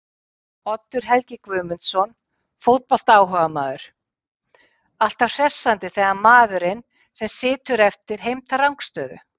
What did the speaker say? Oddur Helgi Guðmundsson fótboltaáhugamaður: Alltaf hressandi þegar maðurinn sem situr eftir heimtar rangstæðu!!